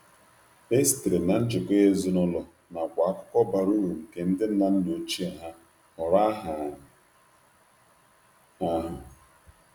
E sitere na njikọ ezinụlọ nakwa akụkọ bara uru nke ndi nna nna ochie ha họrọ aha ahụ.